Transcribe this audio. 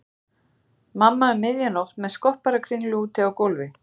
Mamma um miðja nótt með skopparakringlu úti á gólfi.